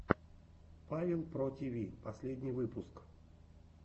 павел про тиви последний выпуск